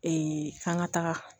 k'an ka taga